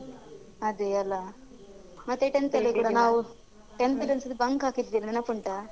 ಅದೇ ಅಲಾ ಮತ್ತೆ tenth ಅಲ್ಲಿ ಕೂಡ ನಾವು tenth ಡ್ ಒಂದ್ ಸರಿ bunk ಹಾಕಿದ್ವಿ ನೆನಪುಂಟಾ?